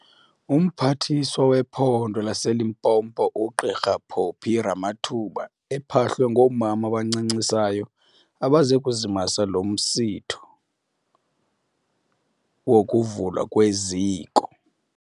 UMphathiswa wePhondo laseLimpopo uGq Phophi Ramathuba ephahlwe ngoomama abancancisayo abeze kuzimasa lo umsitho wokuvulwa kweziko.